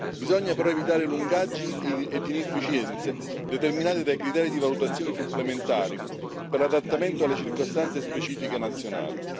Bisogna però evitare lungaggini ed inefficienze determinate dai criteri di valutazione supplementari per l'adattamento alle circostanze specifiche nazionali.